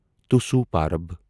توسُو پرب